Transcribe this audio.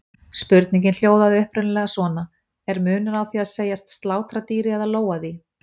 Spurningin hljóðaði upprunalega svona: Er munur á því að segjast slátra dýri eða lóga því?